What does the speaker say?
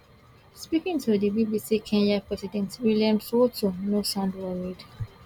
speaking to di bbc kenyan president william ruto no sound worried